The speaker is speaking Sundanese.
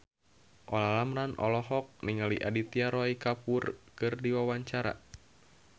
Olla Ramlan olohok ningali Aditya Roy Kapoor keur diwawancara